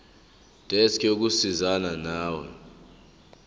desk yokusizana nawe